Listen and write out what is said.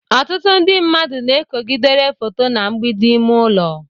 ọtụtụ ndị mmadụ na-ekogidere foto na mgbidi ime ụlọ